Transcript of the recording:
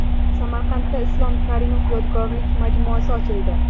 Samarqandda Islom Karimov yodgorlik majmuasi ochildi .